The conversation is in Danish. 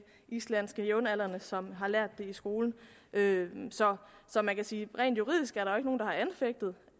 islandske jævnaldrende som har lært det i skolen så så man kan sige at rent juridisk